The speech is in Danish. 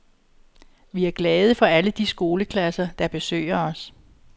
Vi er glade for alle de skoleklasser, der besøger os.